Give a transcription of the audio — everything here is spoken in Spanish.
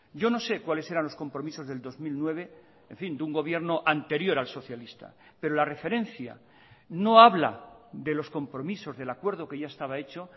yo no sé cuáles eran los compromisos del dos mil nueve en fin de un gobierno anterior al socialista pero la referencia no habla de los compromisos del acuerdo que ya estaba hecho